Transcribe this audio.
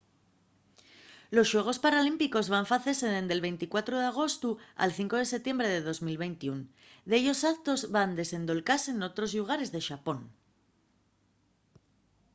los xuegos paralímpicos van facese dende’l 24 d’agostu al 5 de setiembre de 2021. dellos actos van desendolcase n’otros llugares de xapón